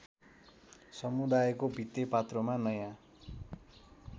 समुदायको भित्तेपात्रोमा नयाँ